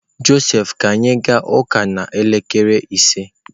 Josef ka anyị ga-aga ụka n'elekere ise?